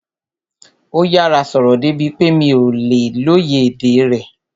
Ó yára sọ̀rọ̀ débi pé mi ò lè lóye èdè rẹ̀